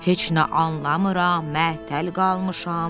Heç nə anlamıram, məəttəl qalmışam.